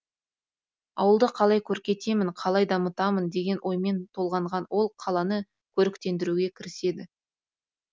ауылды қалай көркейтемін қалай дамытамын деген оймен толғанған ол қаланы көріктендіруге кіріседі